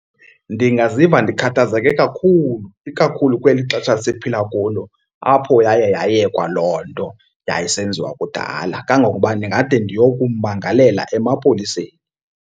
Ndingaziva ndikhathazeke kakhulu ikakhulu kweli xesha siphila kulo apho yaye yayekwa loo nto yayisenziwa kudala. Kangokuba ndingade ndiyokummangalela emapoliseni.